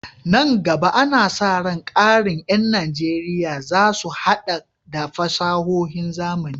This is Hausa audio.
Nan gaba, ana sa ran ƙarin ƴan Najeriya za su haɗa da fasahohin zamani.